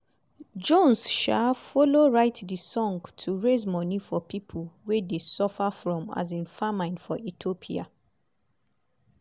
jones um follow-write di song to raise money for pipo wey dey suffer from um famine for ethiopia.